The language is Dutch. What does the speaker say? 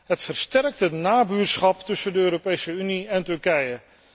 Het versterkt het nabuurschap tussen de Europese Unie en Turkije.